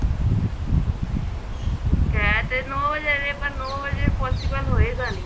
ਹੈ ਤੇ ਨੋ ਵਜੇ ਪਰ ਨੋ ਵਜੇ possible ਹੋਏਗਾ ਨੀਂ